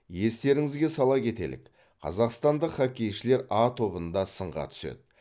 естеріңізге сала кетелік қазақстандық хоккейшілер а тобында сынға түседі